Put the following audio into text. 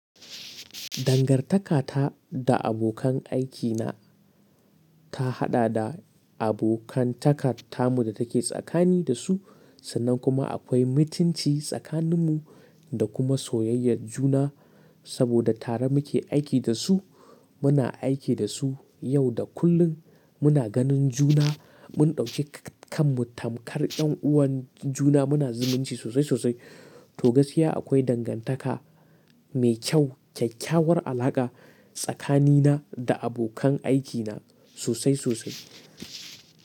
Dangantaka ta da abokan aikina ta haɗa da abokantaka tamu da take tsakani da su, sannan kuma akwai mutunci tsakaninmu da kuma soyayyar juna saboda tare muke aiki da su. Muna aiki da su yau da kullum, muna ganin juna, mun ɗauke kanmu tamkar ƴan uwan juna, muna zumunci sosai sosai. To gaskiya akwai dangantaka mai kyau, kyakkyawar alaƙa tsakanina da abokan aikina sosai sosai.